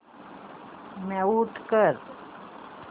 mute कर